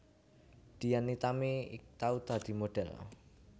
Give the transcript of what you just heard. Dian Nitami tau dadi modhel